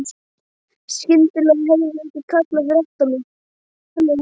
Skyndilega heyrði ég einhvern kalla fyrir aftan mig.